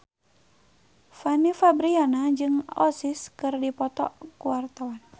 Fanny Fabriana jeung Oasis keur dipoto ku wartawan